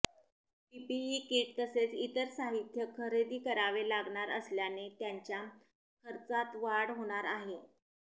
PPE kit तसेच इतर साहित्य खरेदी करावे लागणार असल्याने त्यांच्या खर्चात वाढ होणार आहे